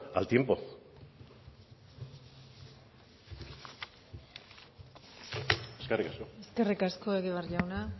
al tiempo eskerrik asko eskerrik asko egibar jauna